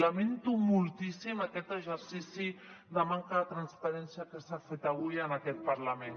lamento moltíssim aquest exercici de manca de transparència que s’ha fet avui en aquest parlament